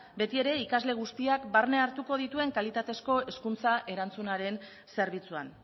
beti ere ikasle guztiak barne hartuko dituen kalitatezko hezkuntza erantzunaren zerbitzuan